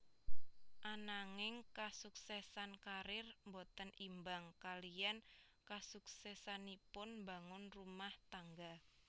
Ananging kasuksèsan karir boten imbang kaliyan kasuksèsanipun mbangun rumah tangga